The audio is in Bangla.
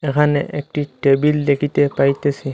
এখানে একটি টেবিল দেখিতে পাইতেসি।